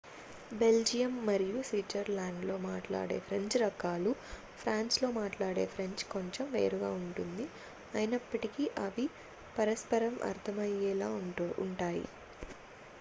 Belgium మరియు స్విట్జర్లాండ్లో మాట్లాడే ఫ్రెంచ్ రకాలు ఫ్రాన్స్లో మాట్లాడే ఫ్రెంచ్ కొంచెం వేరుగా ఉంటుంది అయినప్పటికీ అవి పరస్పరం అర్థమయ్యేలా ఉంటాయి